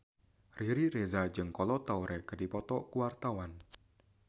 Riri Reza jeung Kolo Taure keur dipoto ku wartawan